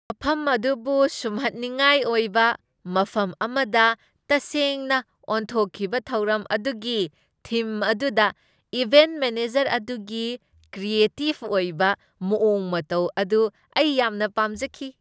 ꯃꯐꯝ ꯑꯗꯨꯕꯨ ꯁꯨꯝꯍꯠꯅꯤꯡꯉꯥꯏ ꯑꯣꯏꯕ ꯃꯐꯝ ꯑꯃꯗ ꯇꯁꯦꯡꯅ ꯑꯣꯟꯊꯣꯛꯈꯤꯕ ꯊꯧꯔꯝ ꯑꯗꯨꯒꯤ ꯊꯤꯝ ꯑꯗꯨꯗ ꯏꯚꯦꯟꯠ ꯃꯦꯅꯦꯖꯔ ꯑꯗꯨꯒꯤ ꯀ꯭ꯔꯤꯑꯦꯇꯤꯕ ꯑꯣꯏꯕ ꯃꯑꯣꯡ ꯃꯇꯧ ꯑꯗꯨ ꯑꯩ ꯌꯥꯝꯅ ꯄꯥꯝꯖꯈꯤ꯫